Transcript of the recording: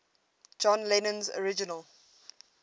john lennon's original